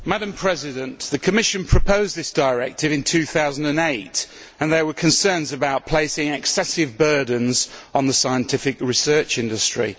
Mr President, the Commission proposed this directive in 2008 and there were concerns about placing excessive burdens on the scientific research industry.